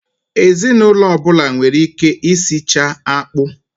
Ezinụlọ ọbụla nwere ike i sichaa akpụ.